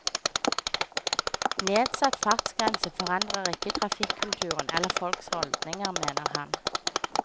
Nedsatt fartsgrense forandrer ikke trafikkulturen eller folks holdninger, mener han.